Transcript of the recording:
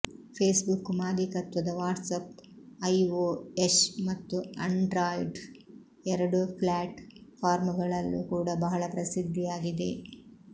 face book ಮಾಲೀಕತ್ವದ WhatsApp iOS ಮತ್ತು Android ಎರಡೂ ಫ್ಲ್ಯಾಟ್ ಫಾರ್ಮ್ ಗಳಲ್ಲೂ ಕೂಡ ಬಹಳ ಪ್ರಸಿದ್ಧಿಯಾಗಿದೆ